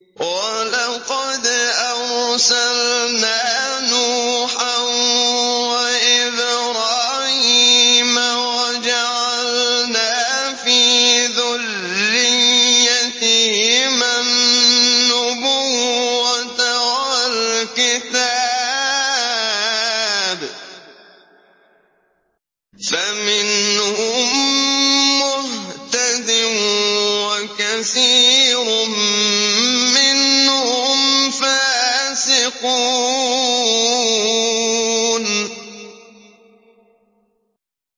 وَلَقَدْ أَرْسَلْنَا نُوحًا وَإِبْرَاهِيمَ وَجَعَلْنَا فِي ذُرِّيَّتِهِمَا النُّبُوَّةَ وَالْكِتَابَ ۖ فَمِنْهُم مُّهْتَدٍ ۖ وَكَثِيرٌ مِّنْهُمْ فَاسِقُونَ